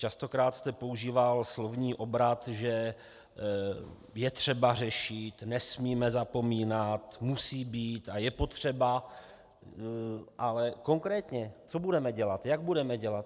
Častokrát jste používal slovní obrat, že je třeba řešit, nesmíme zapomínat, musí být a je potřeba - ale konkrétně: co budeme dělat, jak budeme dělat?